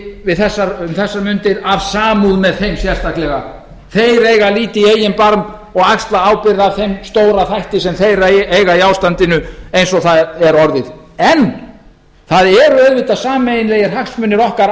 í útrásinni um þessar mundir af samúð með þeim sérstaklega þeir eiga að líta í eigin barm og axla ábyrgð á þeim stóra þætti sem þeir eiga í ástandinu eins og það er orðið en það eru auðvitað sameiginlegir hagsmunir okkar